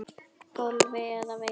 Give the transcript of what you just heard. golfi eða veiði.